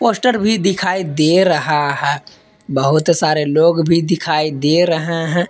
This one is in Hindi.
पोस्टर भी दिखाई दे रहा है बहुत सारे लोग भी दिखाई दे रहे है।